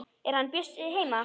Er hann Bjössi heima?